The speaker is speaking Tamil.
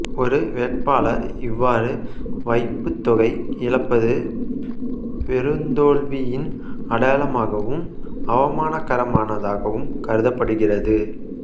ஒரு வேட்பாளர் இவ்வாறு வைப்புத் தொகை இழப்பது பெருந்தோல்வியின் அடையாளமாகவும் அவமானகரமானதாகவும் கருதப்படுகிறது